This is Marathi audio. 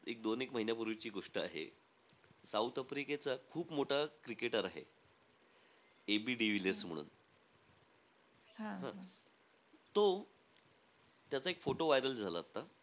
दोन एक महिन्यापूर्वीची गोष्ट आहे. साऊथ आफ्रिकेचा खूप मोठा cricketer आहे. एबी डिविलियर्स म्हणून हा . तो त्याचा एक photo viral झाला आत्ता.